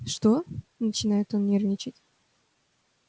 что начинает он нервничать